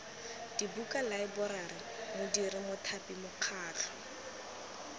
dibuka laeborari modiri mothapi mokgatlho